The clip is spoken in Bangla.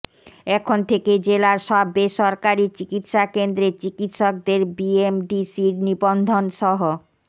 এখন থেকে জেলার সব বেসরকারি চিকিৎসাকেন্দ্রে চিকিৎসকদের বিএমডিসির নিবন্ধনসহ